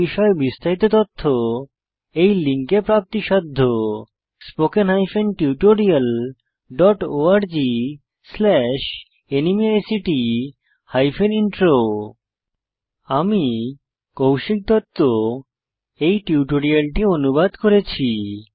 এই বিষয়ে বিস্তারিত তথ্য এই লিঙ্কে প্রাপ্তিসাধ্য spoken hyphen tutorial dot org slash NMEICT hyphen intro আমি কৌশিক দত্ত এই টিউটোরিয়ালটি অনুবাদ করেছি